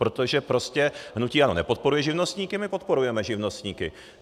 Protože prostě hnutí ANO nepodporuje živnostníky, my podporujeme živnostníky.